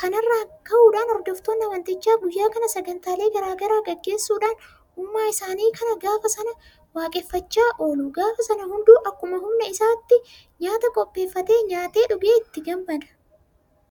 Kana irraa ka'uudhaan hordoftoonni amantichaa guyyaa kana sagantaalee garaa garaa gaggeessuudhaan uumaa isaanii kana gaafa sana waaqeffachaa oolu. Gaafa sana hunduu akkuma humna isaatti nyaata qopheeffatee nyaatee dhugee ittiin gammada.